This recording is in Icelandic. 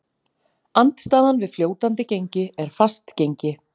Andstaðan við fljótandi gengi er fast gengi.